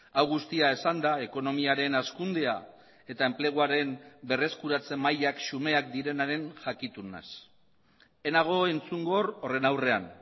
hau guztia esanda ekonomiaren hazkundea eta enpleguaren berreskuratze mailak xumeak direnaren jakitun naiz ez nago entzungor horren aurrean